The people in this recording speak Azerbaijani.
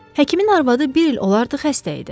Həkimin arvadı bir il olardı xəstə idi.